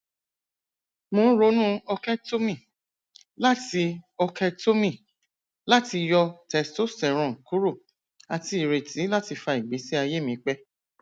mo n ronu orchiectomy lati orchiectomy lati yọ testosterone kuro ati ireti lati fa igbesi aye mi pẹ